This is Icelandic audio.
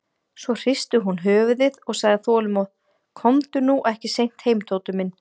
Svo hristi hún höfuðið og sagði þolinmóð: Komdu nú ekki seint heim, Tóti minn.